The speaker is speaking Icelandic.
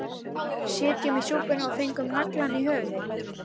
Sitjum í súpunni og fengum naglann í höfuðið